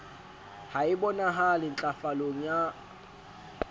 ha e bonahale ntlafalong ya